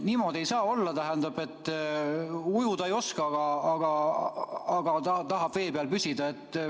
Niimoodi ei saa olla, et ujuda ei oska, aga tahetakse vee peal püsida.